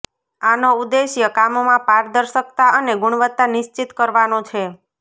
આનો ઉદ્દેશ્ય કામમાં પારદર્શકતા અને ગુણવત્તા નિશ્ચિત કરવાનો છે